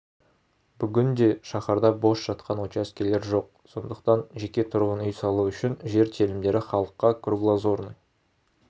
бүгінде шаһарда бос жатқан учаскелер жоқ сондықтан жеке тұрғын үй салу үшін жер телімдері халыққа круглоозрный